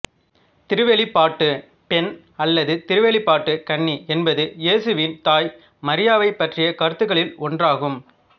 திருவெளிப்பாட்டு பெண் அல்லது திருவெளிப்பாட்டு கன்னி என்பது இயேசுவின் தாய் மரியாவைப் பற்றிய கருத்துருக்களில் ஒன்றாகும்